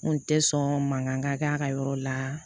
N kun tɛ sɔn mankan kɛ a ka yɔrɔ la